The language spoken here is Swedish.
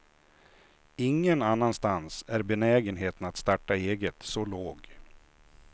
Ingen annanstans är benägenheten att starta eget så låg.